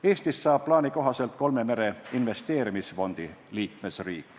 Eestist saab plaani kohaselt kolme mere algatuse investeerimisfondi liikmesriik.